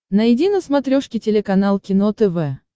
найди на смотрешке телеканал кино тв